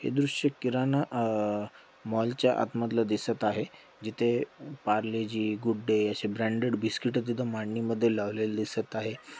हे दृष्य किराणा अह मॉलच्या आतमधलं दिसत आहे. जिथे पार्लेजी गुड-डे अशे ब्रांडेड बिस्किटं तिथ मांडनीमध्ये लावलेलं दिसत आहे.